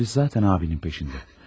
Polis zatən abinin peşindədir.